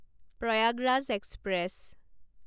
Prayagraj express